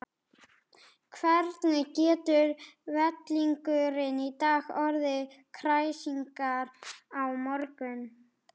Hvernig getur vellingurinn í dag orðið kræsingar á morgun?